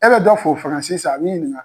E bɛ dɔ fo faransi sisan a b'i ɲininka.